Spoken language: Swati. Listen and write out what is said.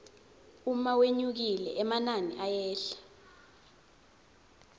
uma wenyukile emanini ayehla